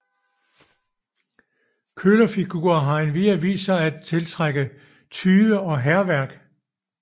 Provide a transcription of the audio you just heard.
Kølerfigurer har endvidere vist sig at tiltrække tyve og hærværk